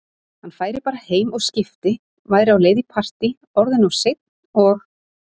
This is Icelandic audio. Hann færi bara heim og skipti, væri á leið í partí, orðinn of seinn, og